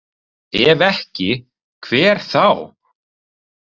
Ef ekki, hver þá?